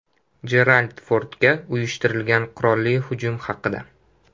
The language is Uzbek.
Jerald Fordga uyushtirilgan qurolli hujum haqida.